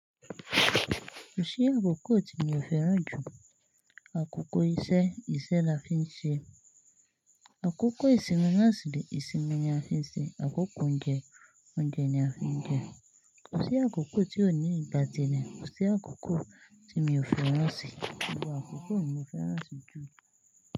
Kò sí àkókò tí mi ò fẹ́ràn jù. Àkókò isẹ́, isẹ́ la fi ń ṣe. Àkókò ìsinmi, náà sì rè ìsinmi ni a fi ń ṣe. Àkókò oúnjẹ, oúnjẹ ni a fi ń jẹ. Kò sí àkókò tí ò ní ìgbà tí rẹ̀, kò sí àkókò tí mi ò fẹ́ràn sí. Gbogbo àkókò mi ò fẹ́ràn sí jù.